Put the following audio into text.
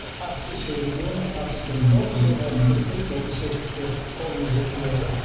ас ішегі дейді ғой ас ішегі тоқ ішек ас ішек дейді сол ішекке қолымыз жетпей отыр